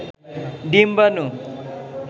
ডিম্বানু